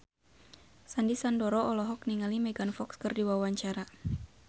Sandy Sandoro olohok ningali Megan Fox keur diwawancara